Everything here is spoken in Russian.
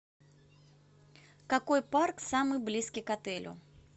какой парк самый близкий к отелю